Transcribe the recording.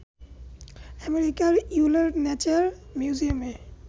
আমেরিকার ইয়েলের ন্যাচারাল মিউজিয়ামের